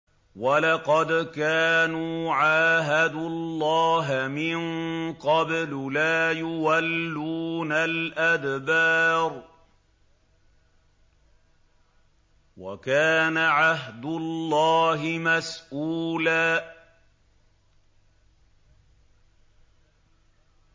وَلَقَدْ كَانُوا عَاهَدُوا اللَّهَ مِن قَبْلُ لَا يُوَلُّونَ الْأَدْبَارَ ۚ وَكَانَ عَهْدُ اللَّهِ مَسْئُولًا